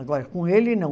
Agora, com ele, não.